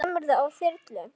Kemurðu á þyrlu?